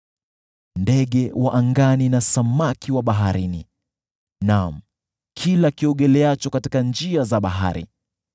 ndege wa angani na samaki wa baharini, naam, kila kiogeleacho katika njia za bahari.